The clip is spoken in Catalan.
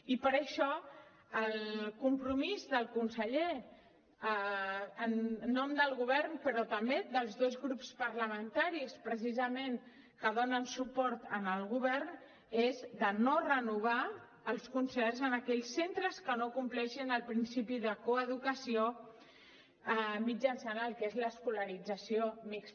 i per això el compromís del conseller en nom del govern però també dels dos grups parlamentaris precisament que donen suport al govern és de no renovar els concerts a aquells centres que no compleixin el principi de coeducació mitjançant el que és l’escolarització mixta